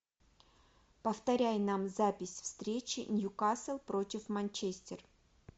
повторяй нам запись встречи ньюкасл против манчестер